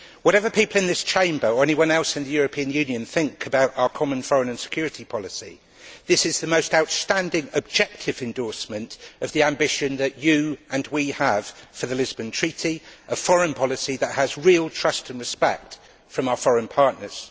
Whatever people in this Chamber, or anyone else in the European Union, think about our common foreign and security policy, this is the most outstanding objective endorsement of the ambition that you and we have for the Lisbon Treaty, a foreign policy that has real trust and respect from our foreign partners.